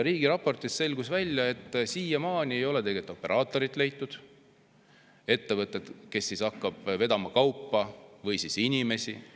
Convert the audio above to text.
Riigi raportist selgus, et siiamaani ei ole leitud operaatorit, ettevõtet, kes hakkab vedama kaupa või inimesi.